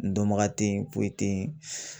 N dɔnbaga te yen foyi tɛ yen